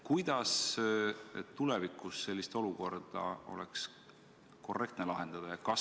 Kuidas oleks tulevikus sellist olukorda korrektne lahendada?